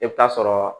I bɛ taa sɔrɔ